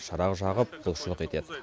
шырақ жағып құлшылық етеді